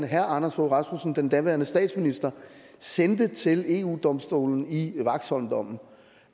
herre anders fogh rasmussen den daværende statsminister sendte til eu domstolen i vaxholmdommen